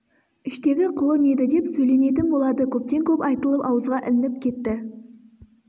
іштегі құлын еді деп сөйленетін болады көптен көп айтылып ауызға ілініп кетті